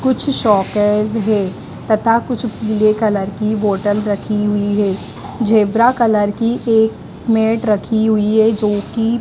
कुछ शोकर्स है तथा कुछ पीले कलर की बॉटल रखी हुई है ज़ेबरा कलर की एक मैट रखी हुई है जो कि --